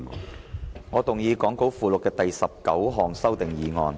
主席，我動議講稿附錄的第19項修訂議案。